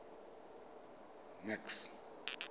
max